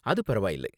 அது பரவாயில்ல.